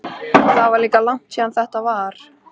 Það er líka langt síðan þetta var.